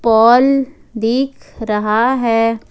पोल दिख रहा है।